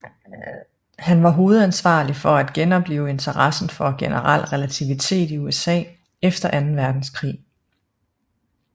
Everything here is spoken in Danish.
Han var hovedansvarlig for at genoplive interessen for generel relativitet i USA efter anden verdenskrig